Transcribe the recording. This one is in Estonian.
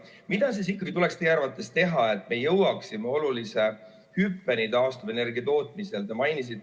Mida siis ikkagi tuleks teie arvates teha, et me jõuaksime olulise hüppeni taastuvenergia tootmisel?